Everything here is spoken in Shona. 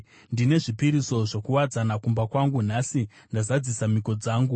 “Ndine zvipiriso zvokuwadzana kumba kwangu; nhasi ndazadzisa mhiko dzangu.